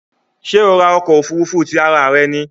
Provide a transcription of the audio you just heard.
Ṣé o ra ọkọ̀ òfurufú tí ara rẹ ní?